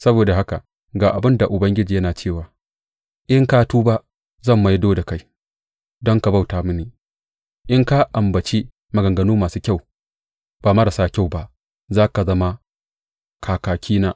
Saboda haka ga abin da Ubangiji yana cewa, In ka tuba, zan maido da kai don ka bauta mini; in ka ambaci maganganu masu kyau, ba marasa kyau ba, za ka zama kakakina.